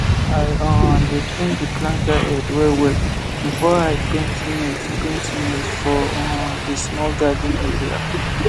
i um dey clean the planter head well well before i paint maize paint maize for um the small garden area